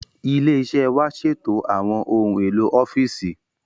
Ilé iṣẹ́ wa ṣètò àwọn ohun èlò ọ́fíìsì